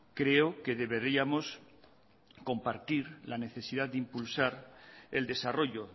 creo que deberíamos compartir la necesidad de impulsar el desarrollo